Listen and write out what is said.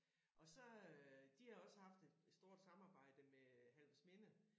Og så øh de har også haft et stort samarbejde med Halvorsminde